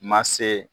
Ma se